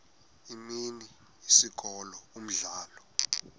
imini isikolo umdlalo